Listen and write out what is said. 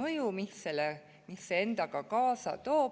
mõju, mis see endaga kaasa toob.